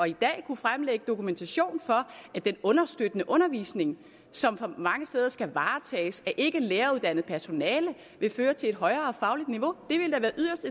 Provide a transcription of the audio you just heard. i dag kunne fremlægge dokumentation for at den understøttende undervisning som mange steder skal varetages af ikkelæreruddannet personale vil føre til et højere fagligt niveau det ville da være yderst